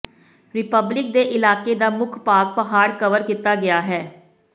republic ਦੇ ਇਲਾਕੇ ਦਾ ਮੁੱਖ ਭਾਗ ਪਹਾੜ ਕਵਰ ਕੀਤਾ ਗਿਆ ਹੈ